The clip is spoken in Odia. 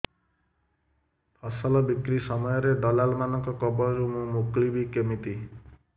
ଫସଲ ବିକ୍ରୀ ସମୟରେ ଦଲାଲ୍ ମାନଙ୍କ କବଳରୁ ମୁଁ ମୁକୁଳିଵି କେମିତି